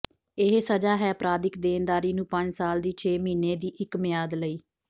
ਇਹ ਸਜ਼ਾ ਹੈ ਅਪਰਾਧਿਕ ਦੇਣਦਾਰੀ ਨੂੰ ਪੰਜ ਸਾਲ ਦੀ ਛੇ ਮਹੀਨੇ ਦੀ ਇੱਕ ਮਿਆਦ ਲਈ